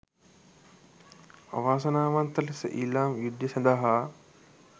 අවාසනාවන්ත ලෙස ඊළාම් යුද්ධය සඳහා